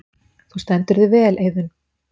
Þú stendur þig vel, Eiðunn!